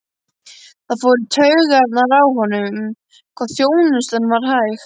Það fór í taugarnar á honum hvað þjónustan var hæg.